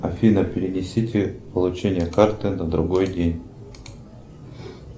афина перенесите получение карты на другой день